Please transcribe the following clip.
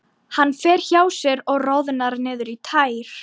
Hann fer hjá sér og roðnar niður í tær.